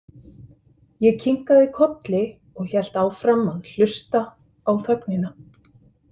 Ég kinkaði kolli og hélt áfram að hlusta á þögnina.